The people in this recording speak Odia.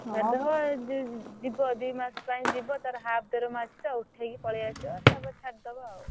ଛାଡିଦବ ଯଦି ଯିବ ଦିମାସ ପାଇଁ ଯିବ ତାର half ଦରମା ଅଛି ତ ଉଠେଇକି ପଲେଇଆସିବା ତା ପରେ ଛାଡିଦବ ଆଉ।